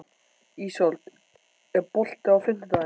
Ísold, er bolti á fimmtudaginn?